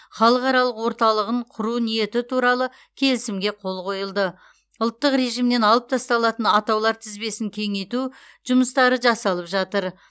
халықаралық орталығын құру ниеті туралы келісімге қол қойылды ұлттық режимнен алып тасталатын атаулар тізбесін кеңейту жұмыстары жасалып жатыр